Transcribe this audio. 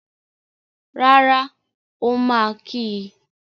Rárá, ó máa kí í.